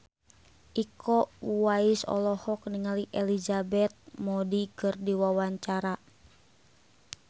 Iko Uwais olohok ningali Elizabeth Moody keur diwawancara